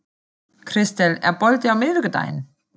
Kristel, er bolti á miðvikudaginn?